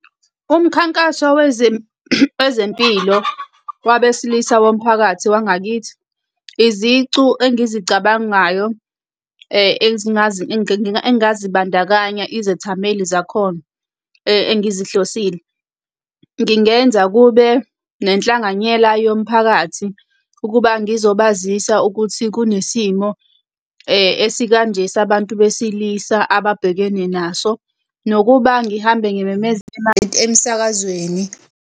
Umkhankaso wezempilo wabesilisa womphakathi wangakithi, izicu engizicabangayo engazibandakanya izethameli zakhona engizihlosile, ngingenza kube nenhlanganyela yomphakathi, ukuba ngizobazisa ukuthi kunesimo esikanje sabantu besilisa ababhekene naso. Nokuba ngihambe ngimemeza emsakazweni.